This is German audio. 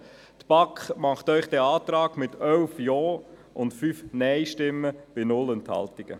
Die BaK stellt Ihnen diesen Antrag mit 11 Ja- gegen 5 Nein-Stimmen bei 0 Enthal- tungen.